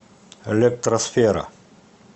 электросфера